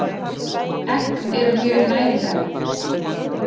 Egg eru mjög næringarrík.